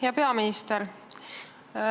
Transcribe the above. Hea peaminister!